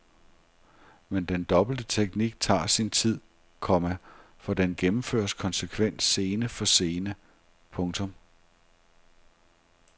Men den dobbelte teknik tager sin tid, komma for den gennemføres konsekvent scene for scene. punktum